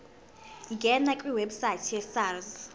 ngena kwiwebsite yesars